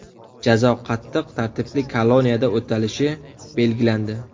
Jazo qattiq tartibli koloniyada o‘talishi belgilandi.